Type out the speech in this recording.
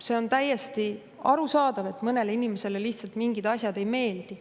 See on täiesti arusaadav, et mõnele inimesele lihtsalt mingid asjad ei meeldi.